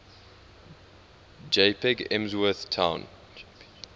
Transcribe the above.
jpg emsworth town